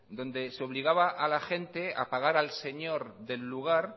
donde se obligaba a la gente a pagar al señor del lugar